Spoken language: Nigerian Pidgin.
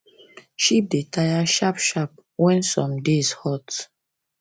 sheep da taya shap shap when some days hot